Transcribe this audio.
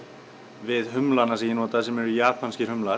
við humlana sem ég not a sem eru japanskir